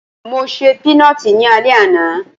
Mo ṣe pínọtì ní alẹ́ àná